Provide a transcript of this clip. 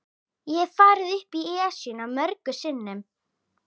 Ég hef farið upp Esjuna mörgum sinnum.